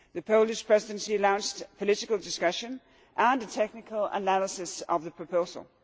The Polish Presidency announced a political discussion and a technical analysis of the proposal.